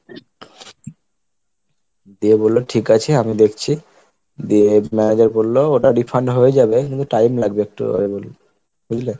দিয়ে বললো ঠিক আছে আমি দেখছি দিয়ে manager বললো ওটা refund হয়ে যাবে কিন্তু time লাগবে একটু, বুঝলে?